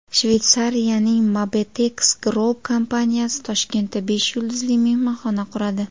Shveysariyaning Mabetex Group kompaniyasi Toshkentda besh yulduzli mehmonxona quradi.